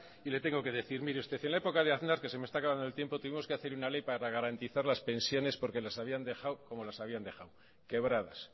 y le tengo que decir mire usted en la época de aznar que se me está acabando el tiempo tuvimos que hacer una ley para garantizar las pensiones porque las habían dejado como las habían dejado quebradas